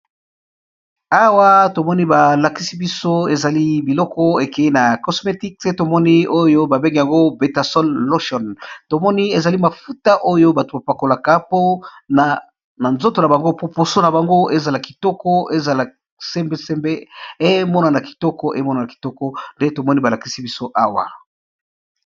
Awa tomoni balakisi biso ezali biloko ekeye na cosmetique te tomoni oyo babenge yango betasolution tomoni ezali mafuta oyo bato bapakolaka po na nzoto na bango po poso na bango ezala kitoko ezala semeseme emonana kitoko emonana kitoko nde tomoni balakisi biso awa.